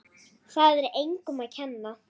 Það er engum að kenna.